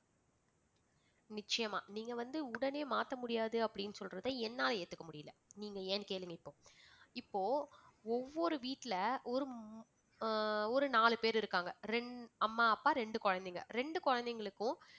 நிச்சயமா நீங்க வந்து உடனே மாத்தமுடியாது அப்படின்னு சொல்றது என்னால ஏத்துக்க முடியலை. நீங்க ஏன் கேளுங்க இப்போ. இப்போ ஒவ்வொரு வீட்ல ஒரு~ அஹ் ஒரு நாலு பேரு இருக்காங்க ரெண்~ அம்மா அப்பா ரெண்டு குழந்தைங்க ரெண்டு குழந்தைகளுக்கும்